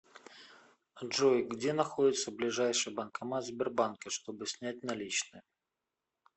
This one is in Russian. джой где находится ближайший банкомат сбербанка чтобы снять наличные